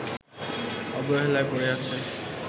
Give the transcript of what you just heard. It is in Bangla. অবহেলায় পড়ে আছে